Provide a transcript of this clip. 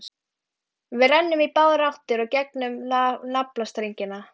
Við rennum í báðar áttir í gegnum naflastrenginn.